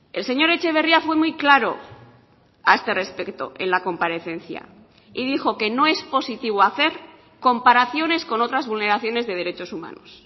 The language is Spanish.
el señor etxeberria fue muy claro a este respecto en la comparecencia y dijo que no es positivo hacer comparaciones con otras vulneraciones de derechos humanos